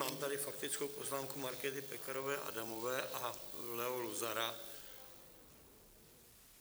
Mám tady faktickou poznámku Markéty Pekarové Adamové a Leo Luzara.